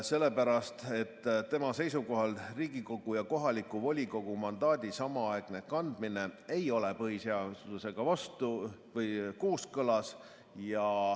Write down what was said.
Sellepärast, et tema seisukoha järgi Riigikogu ja kohaliku volikogu mandaadi samaaegne kandmine ei ole põhiseadusega kooskõlas.